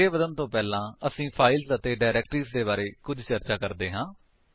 ਅੱਗੇ ਵਧਣ ਤੋਂ ਪਹਿਲਾਂ ਅਸੀ ਫਾਇਲਸ ਅਤੇ ਡਾਇਰੇਕਟਰੀਜ ਦੇ ਬਾਰੇ ਵਿੱਚ ਕੁੱਝ ਚਰਚਾ ਕਰਦੇ ਹਾਂ